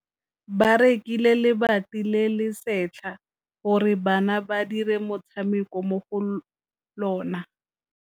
Ba rekile lebati le le setlha gore bana ba dire motshameko mo go lona.